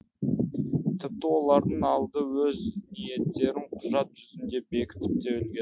тіпті олардың алды өз ниеттерін құжат жүзінде бекітіп те үлгерді